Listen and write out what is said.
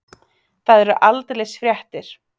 Það eru aldeilis fréttir.